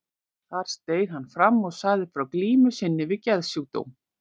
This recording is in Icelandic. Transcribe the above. Þar steig hann fram og sagði frá glímu sinni við geðsjúkdóm.